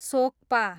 सोक्पा